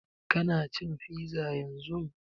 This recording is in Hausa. Ka na cin fiza yanzun?